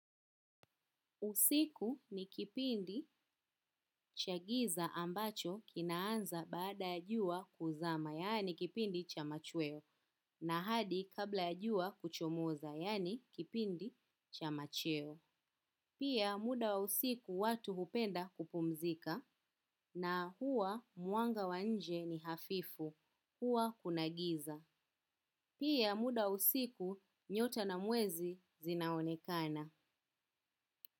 Usiku ni kipindi cha giza ambacho kinaanza baada ya jua kuzama, yaani kipindi cha machweo, na hadi kabla ya jua kuchomoza, yaani kipindi cha macheo. Pia muda wa usiku watu hupenda kupumzika, na huwa mwanga wa nje ni hafifu, huwa kuna giza. Pia muda wa usiku nyota na mwezi zinaonekana.